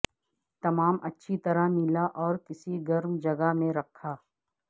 تمام اچھی طرح ملا اور کسی گرم جگہ میں رکھا